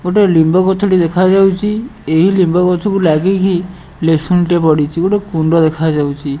ଗୋଟେ ଲିମ୍ବ ଗଛଟେ ଦେଖାଯାଉଚି ଏହି ଲିମ୍ବ ଗଛକୁ ଲାଗିକି ମେସନ୍ ଟେ ପଡ଼ିଚି ଗୋଟେ କୁଣ୍ଡ ଦେଖାଯାଉଚି।